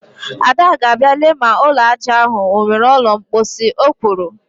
Ada ga-abịa lee ma ụlọ aja ahụ o nwere ụlọ mkposhi, o kwuru